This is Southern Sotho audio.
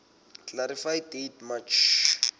clarify date march